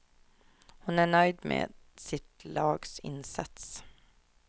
Hon är nöjd med sitt lags insats.